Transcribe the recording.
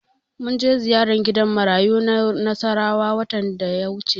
Mun je ziyara gidan marayu na Nasarawa watan da ya wuce.